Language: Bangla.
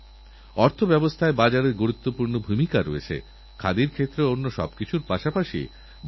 যখনই আব্দুলকালামজীর নাম করা হয় তখনই বিজ্ঞান প্রযুক্তি ক্ষেপনাস্ত্র ভবিষ্যতের একশক্তিশালী ভারতের ছবি আমাদের চোখের সামনে ভেসেওঠে